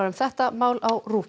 um þetta mál á